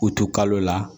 U to kalo la